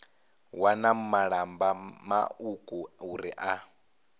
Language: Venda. wana malamba mauku uri na